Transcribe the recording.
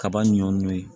Kaba ɲun